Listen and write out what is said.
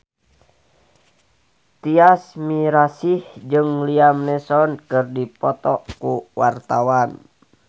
Tyas Mirasih jeung Liam Neeson keur dipoto ku wartawan